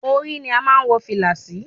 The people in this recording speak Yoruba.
Orí ni a má ń wọ fìlà sí.